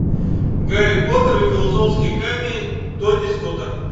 гарри поттер и философский камень тони скотта